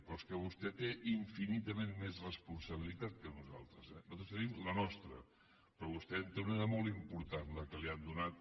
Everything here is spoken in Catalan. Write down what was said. però és que vostè té infinitament més responsabilitat que nosaltres eh nosaltres tenim la nostra però vostè en té una de molt important la que li han donat